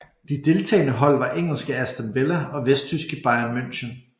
De deltagende hold var engelske Aston Villa og vesttyske Bayern München